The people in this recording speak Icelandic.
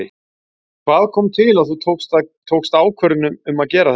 Hvað kom til að þú tókst ákvörðun um að gera þetta?